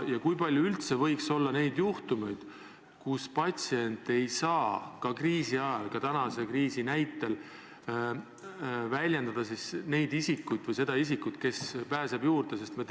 Ja kui palju üldse võiks kas või praeguse kriisi näitel olla neid juhtumeid, kus patsient ei saa öelda neid isikuid või seda isikut, kes pääseb tema andmetele juurde?